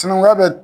Sinankunya bɛ